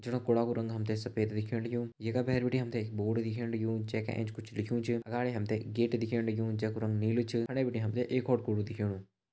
जखा कुड़ा कु रंग हम ते सफ़ेद दिखेण लग्युं येका भैर बिटि एक बोर्ड दिखेण लग्युं जैका एंच कुछ लिख्युं च अगाड़ी हम ते एक गेट दिखेण लग्युं जैकु रंग नीलू च फंडे बिटि हम ते एक और कुड़ु दिखेणु।